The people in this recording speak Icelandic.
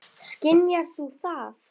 Skynjar þú það?